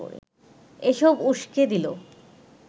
এসব উসকে দিল